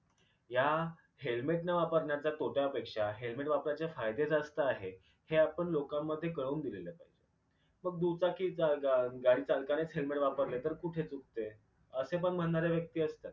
या helmet न वापरण्याच्या तोट्या पेक्षा हेलमेट वापरायचे फायदे जास्त आहे हे आपण लोकांमध्ये कळवून दिलेले पाहिजे मग दुचाकी गा गा गाडी चालकानेच helmet वापरले तर कुठे चुकते असे पण म्हणणारे व्यक्ती असतात.